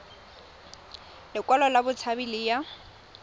lekwalo la botshabi le ya